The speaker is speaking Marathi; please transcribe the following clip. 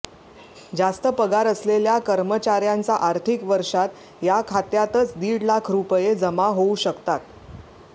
जास्त पगार असलेल्या कर्मचार्यांचा आर्थिक वर्षात या खात्यातच दीड लाख रुपये जमा होऊ शकतात